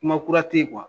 Kuma kura te ye